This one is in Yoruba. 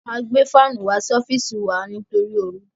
A gbé fánù wá sí ọ́fìsì wá sí wa nítorí oru.